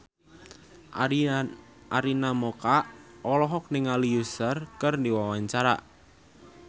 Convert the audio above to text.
Arina Mocca olohok ningali Usher keur diwawancara